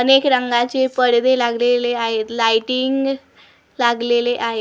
अनेक रंगाचे पडदे लागलेले आहेत लाइटिंग लागलेले आहेत.